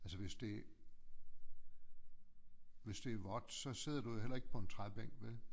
Altså hvis det hvis det er vådt så sidder du jo heller ikke på en træbænk vel